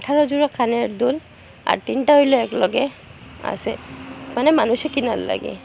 আঠারো জোড়া কানের দুল আর তিনটা হইল একলগে আসে মানে মানুষে কিনার লাগে।